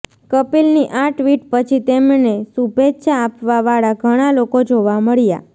કપિલની આ ટ્વીટ પછી તેમને શુભેચ્છા આપવા વાળા ઘણા લોકો જોવા મળ્યા